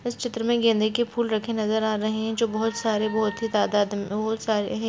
इस चित्र में गेंदे के फूल रखे नज़र आ रहे है जो बहुत सारे बहुत ही तदात में बहुत सरे हैं।